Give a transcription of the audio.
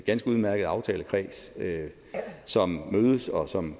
ganske udmærket aftalekreds som mødes og som